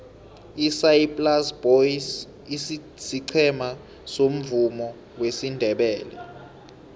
isaai plaas boys siqhema somvumo wesindebele